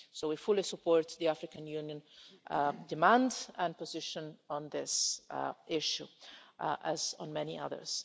So we fully support the African Union demand and position on this issue, as on many others.